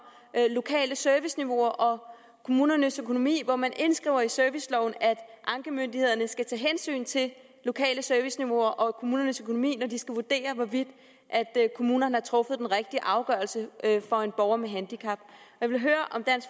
lokale serviceniveauer og kommunernes økonomi hvor man indskriver i serviceloven at ankemyndighederne skal tage hensyn til lokale serviceniveauer og kommunernes økonomi når de skal vurdere hvorvidt kommunerne har truffet den rigtige afgørelse for en borger med handicap jeg vil høre